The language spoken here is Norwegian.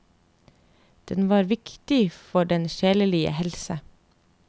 Den var viktig for den sjelelige helse.